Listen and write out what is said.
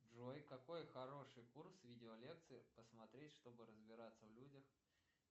джой какой хороший курс видеолекций посмотреть чтобы разбираться в людях